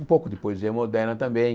Um pouco de poesia moderna também.